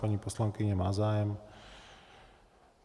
Paní poslankyně má zájem.